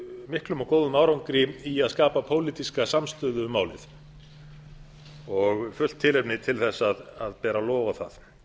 miklum og góðum árangri í að skapa pólitíska samstöðu um málið og fullt tilefni er til að bera lof á það